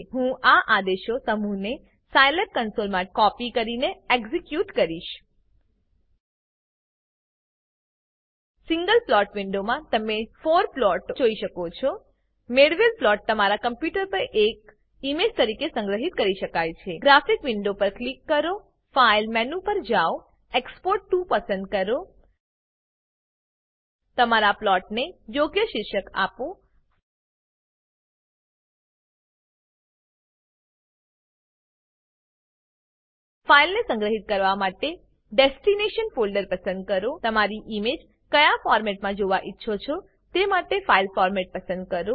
હું આ આદેશોનાં સમૂહને સાયલેબ કન્સોલમાં કોપી કરી એક્ઝેક્યુટ કરીશ સિંગલ પ્લોટ વિન્ડોમાં તમે 4 પ્લોટો જોઈ શકો છો મેળવેલ પ્લોટ તમારા કમ્પ્યુટર પર એક ઈમેજ તરીકે સંગ્રહિત કરી શકાય છે ગ્રાફિક વિન્ડો પર ક્લિક કરો ફાઇલ મેનું પર જાઓ એક્સપોર્ટ ટીઓ પસંદ કરો તમારા પ્લોટને યોગ્ય શીર્ષક આપો ફાઈલને સંગ્રહિત કરવા માટે ડેસ્ટીનેશન ફોલ્ડર પસંદ કરો તમારી ઈમેજ ક્યાં ફોરમેટમાં જોવા ઈચ્છો છો તે માટે ફાઈલ ફોરમેટ પસંદ કરો